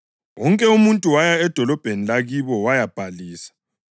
Wonke umuntu waya edolobheni lakibo wayabhalisa.